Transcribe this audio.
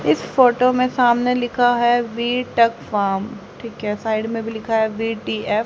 इस फोटो में सामने लिखा है वी टक फोम ठीक है साइड में भी लिखा है वी_टी_एफ --